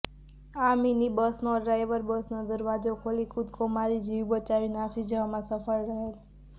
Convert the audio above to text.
આ મીની બસનો ડ્રાઇવર બસનો દરવાજો ખોલી કૂદકો મારી જીવ બચાવી નાસી જવામાં સફળ રહેલ